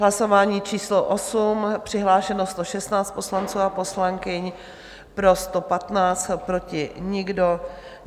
Hlasování číslo 8, přihlášeno 116 poslanců a poslankyň, pro 115, proti nikdo.